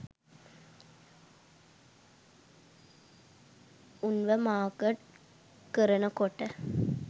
උන්ව market කරනකොට